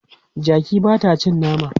Jaki ba ta cin nama.